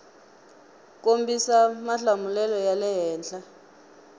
kombisa mahlamulelo ya le henhla